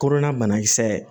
Kolonna banakisɛ ye